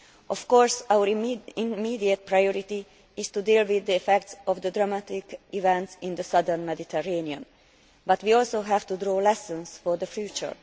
Of course our immediate priority is to deal with the effects of the dramatic events in the southern Mediterranean, but we also have to draw lessons for the future.